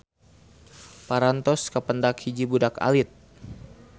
Parantos kapendak hiji budak alit.